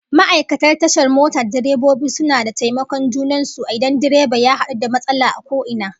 Ma'aikatan tashar mota da direbobi suna da taimakon junan su idan direba ya hadu da matsala a ko ina